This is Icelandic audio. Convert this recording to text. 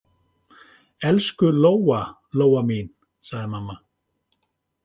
Elsku Lóa-Lóa mín, sagði mamma.